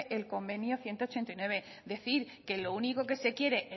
el convenio ciento ochenta y nueve decir que lo único que se quiere